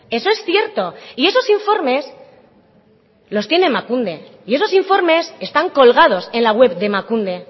eso es cierto y esos informes los tiene emakunde y esos informes están colgados en la web de emakunde